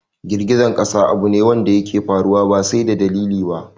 Girgizar ƙasa abu ne wadda yake faruwa ba sai da dalili ba